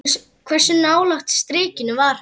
Hversu nálægt strikinu var hann?